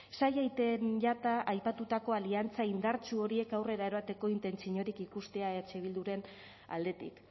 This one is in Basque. zaila iten jata aipatutako aliantza indartsu horiek aurrera eroateko intentzinorik ikustea eh bilduren aldetik